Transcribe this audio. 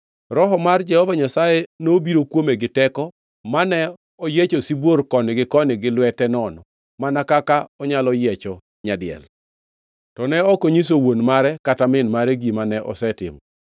Roho mar Jehova Nyasaye nobiro kuome giteko mane oyiecho sibuor koni gi koni gi lwete nono mana kaka onyalo yiecho nyadiel. To ne ok onyiso wuon mare kata min mare gima ne osetimo.